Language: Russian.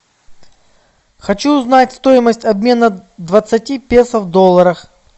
хочу узнать стоимость обмена двадцати песо в долларах